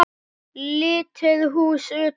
Lítið hús utan.